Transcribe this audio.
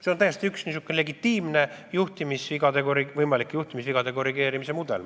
See on üks legitiimne juhtimisvigade korrigeerimise mudel.